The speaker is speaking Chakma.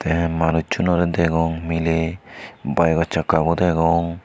tey manusunorey degong miley baego sakka bo degong.